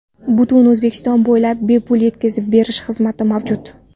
Butun O‘zbekiston bo‘ylab bepul yetkazib berish xizmati mavjud!